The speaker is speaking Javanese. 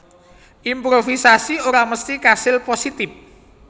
Improvisasi ora mesti kasil positip